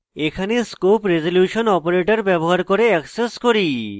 এখানে scope resolution operator ব্যবহার করে অ্যাক্সেস করি